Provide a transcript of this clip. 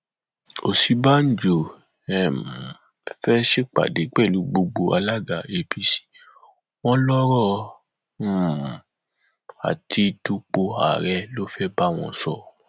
òsínbàjò um fẹẹ ṣèpàdé pẹlú gbogbo alága apc wọn lọrọ um àti dúpọ ààrẹ ló fẹẹ bá wọn sọ